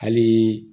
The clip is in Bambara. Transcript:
Hali